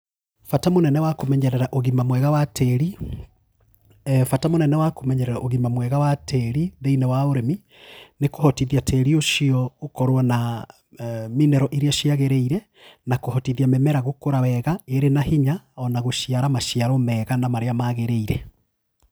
Bata mũnene wa kũmenyerera ũgima mwega wa tĩri, bata mũnene wa kũmenyerera ũgima mwega wa tĩri thĩinĩ wa ũrĩmi, nĩ kũhotithia tĩri ũcio ũkorwo na mineral iria ciagĩrĩire, na kũhotithia mĩmera gũkũra wega ĩrĩ na hinya ona gũciara maciaro mega na marĩa magĩrĩire